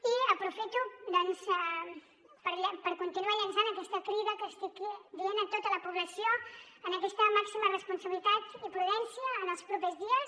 i aprofito per continuar llançant aquesta crida que estic dient a tota la població en aquesta màxima responsabilitat i prudència en els propers dies